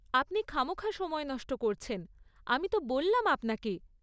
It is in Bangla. আপনি খামোখা সময় নষ্ট করছেন, আমি তো বললাম আপনাকে।